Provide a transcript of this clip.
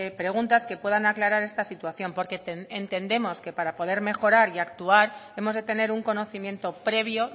preguntas que puedan aclarar esta situación porque entendemos que para poder mejorar y actuar hemos de tener un conocimiento previo